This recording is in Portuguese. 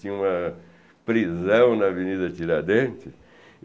Tinha uma prisão na Avenida Tiradentes.